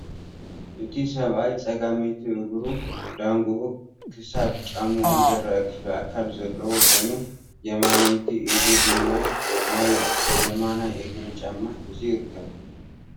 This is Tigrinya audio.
እቲ ሰብኣይ ፀጋመይቲ እግሩ ዳንግኡ ክሳብ ጫምኡ ዝረአ ክፍሊ ኣካል ዘለዎ ኮይኑ የማነይቲ ኢዱ ድማ ናይ የማናይ እግሮ ጫማ ሒዙ ይርከብ፡፡